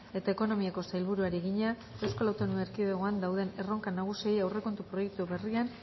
eta ekonomiako sailburuari egina eaen dauden erronka nagusiei aurrekontu proiektu berrian